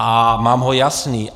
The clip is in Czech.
A mám ho jasný.